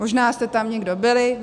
Možná jste tam někdo byli.